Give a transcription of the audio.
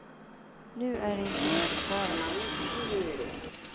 Nu är det inte mycket kvar av den.